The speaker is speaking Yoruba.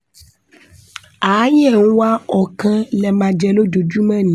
àáyẹ̀ ń wá ọ̀ kàn lẹ má jẹ́ lójoojúmọ́ ni